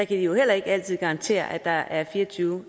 de jo heller ikke altid garantere at der er fire og tyve